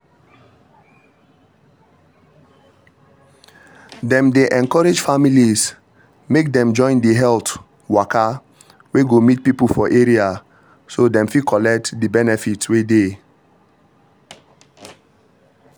dem dey encourage families make dem join the health waka wey go meet people for area so dem fit collect the benefit wey dey